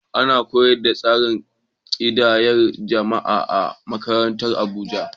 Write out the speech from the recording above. Ana koyar da tsarin ƙidayar jama’a a makarantu a Abuja.